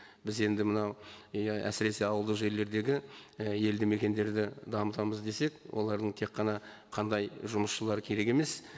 біз енді мынау әсіресе ауылдық жерлердегі і елді мекендерді дамытамыз десек олардың тек қана қандай жұмысшылары керек емес